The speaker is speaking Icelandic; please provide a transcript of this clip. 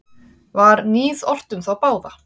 Var níð ort um þá báða.